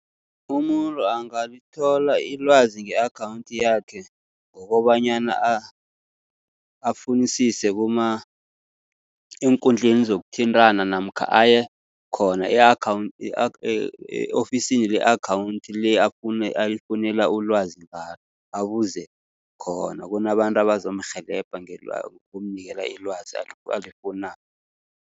Umuntu angalithola ilwazi nge-akhawunthi yakhe, ngokobanyana afunisise eenkundleni zokuthintana namkha aye khona e-ofisini le-akhawunthi le, ayifunela ulwazi ngalo. Abuze khona, kunabantu abazomrhelebha ngokumnikela ilwazi alifunako.